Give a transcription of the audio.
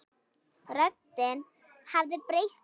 Röddin hafði breyst að nýju.